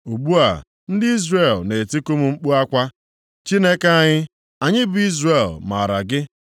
Ugbu a ndị Izrel na-etiku m mkpu akwa, ‘Chineke anyị, anyị bụ Izrel maara gị.’